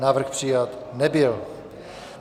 Návrh přijat nebyl.